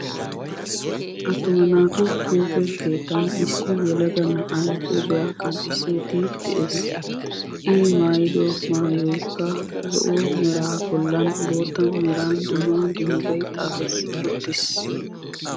Attuma naatu huuphe keettan issi yelaga na'ay huuphphiya qanxxissidi de'ees. I maayiddo maayoykka zo"o meraa bollan boottaa meran dumma dummabay xaafeti uttiis.